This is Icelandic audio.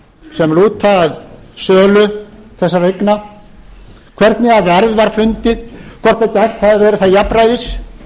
sem lúta að sölu þessara eigna hvernig verð var fundið hvort gætt hafi verið þar jafnræðis